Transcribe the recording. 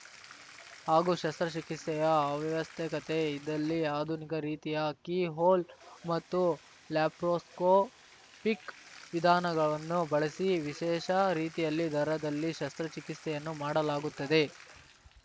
ಹಾಗೂ ಶಸ್ತ್ರ ಚಿಕಿತ್ಸೆಯ ಅವ್ಯವಶ್ಯಕತೆ ಇದ್ದಲ್ಲಿ ಆಧುನಿಕ ರೀತಿಯ ಕೀ ಹೊಲ್‌ ಮತ್ತು ಲ್ಯಾಪ್ರೊಸ್ಕೋಪಿಕ್‌ ವಿಧಾನವನ್ನು ಬಳಸಿ ವಿಶೇಷ ರೀತಿಯಲ್ಲಿ ದರದಲ್ಲಿ ಶಸ್ತ್ರ ಚಿಕಿತ್ಸೆಯನ್ನು ಮಾಡಲಾಗುತ್ತದೆ